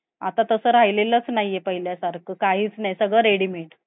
आता तसं राहिलेलंच नाही. पहिल्यासारखं काहीच नाही. सगळे readymade .